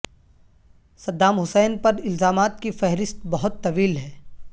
Saddam Hussein پر الزامات کی فہرست بہت طویل ہے